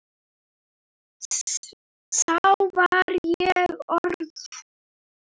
Þá var ég orð